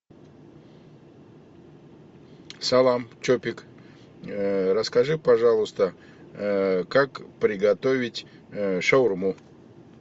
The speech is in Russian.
салам чопик расскажи пожалуйста как приготовить шаурму